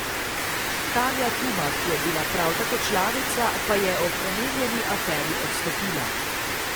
Tanja Tuma, ki je bila prav tako članica, pa je ob omenjeni aferi odstopila.